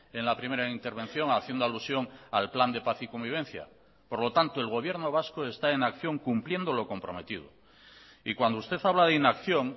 en la primera intervención haciendo alusión al plan de paz y convivencia por lo tanto el gobierno vasco está en acción cumpliendo lo comprometido y cuando usted habla de inacción